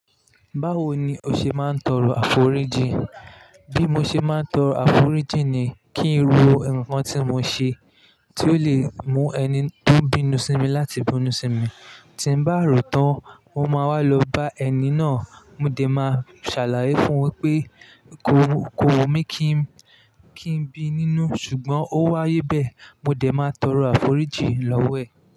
Báwo ni o ṣe máa ń tọrọ àforíjì? Bí mo ṣe máa ń tọrọ àforíjì ni kí n ro nǹkan tí mo ṣe tí ó le mú ẹni tó ń bínú sí mi láti bínú sí mi. Tí ń bá rò tán mo máa wá lọ bá ẹni náà, mo dẹ̀ máa ṣàlàyé fún wípé kó, kó wu mí kí ń, kí ń bi nínú ṣùgbọ́n ó wáyé bẹ́ẹ̀ mo dẹ̀ máa tọrọ àforíjì lọ́wọ́ ẹ̀